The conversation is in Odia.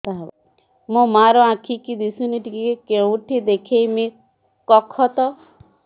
ମୋ ମା ର ଆଖି କି ଦିସୁନି ଟିକେ କେଉଁଠି ଦେଖେଇମି କଖତ